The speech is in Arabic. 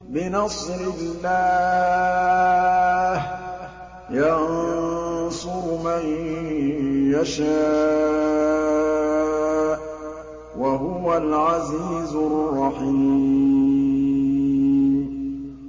بِنَصْرِ اللَّهِ ۚ يَنصُرُ مَن يَشَاءُ ۖ وَهُوَ الْعَزِيزُ الرَّحِيمُ